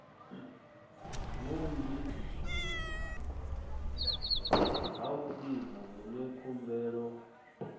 vhuanzi ha vhuimo vhune khumbelo